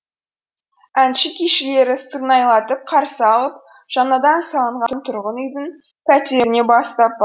әнші күйшілері сырнайлатып қарсы алып жаңадан салынған тұрғын үйдің пәтеріне бастап